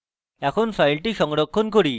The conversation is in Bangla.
এখন file সংরক্ষণ করি